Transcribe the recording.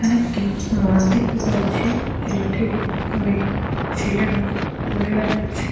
এখানে একটি মাঠ দেখতে পাচ্ছি মাঠে অনেক ছেলেরা ঘুরে বেড়াচ্ছে ।